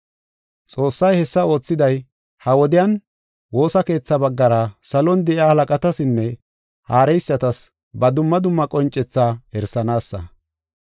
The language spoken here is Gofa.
Xoossay hessa oothiday ha77i wodiyan woosa keetha baggara salon de7iya halaqatasinne haareysatas ba dumma dumma qoncethaa erisanaasa.